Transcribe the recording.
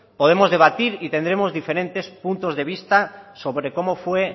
podemos debatir y tendremos diferentes puntos de vista sobre cómo fue